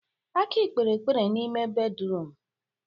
Aki kpere ekpere n'ime bédrụum.